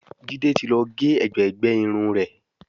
Jide tí ló gé ègbé gbé Irun rẹ.